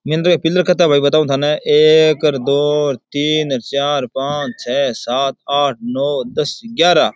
Pillar कितनो है भाई बताऊ थाने एक दो तीन चार पांच छै सात आठ नव दस ग्यारह।